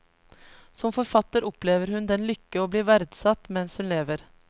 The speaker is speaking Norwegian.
Som forfatter opplever hun den lykke å bli verdsatt mens hun lever.